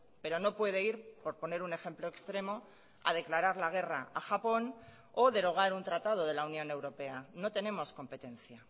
pero no puede ir por poner un ejemplo extremo a declarar la guerra a japón o derogar un tratado de la unión europea no tenemos competencia